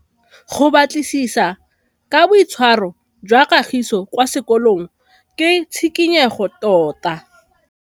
Go batlisisa ka boitshwaro jwa Kagiso kwa sekolong ke tshikinyêgô tota.